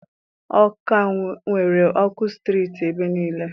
Ọka nwere ọkụ sitirit ebe niile.